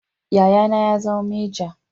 Yayana ya zama meja